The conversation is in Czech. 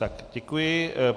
Tak, děkuji.